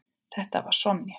Þetta var Sonja.